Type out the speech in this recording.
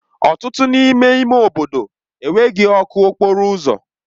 Ọtụtụ n'ime ime obodo enweghị ọkụ okporo ụzọ.